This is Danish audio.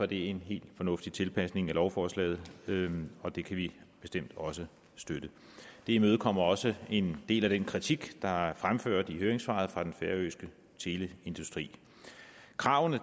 det en helt fornuftig tilpasning af lovforslaget og det kan vi bestemt også støtte det imødekommer også en del af den kritik der er fremført i høringssvaret fra den færøske teleindustri kravene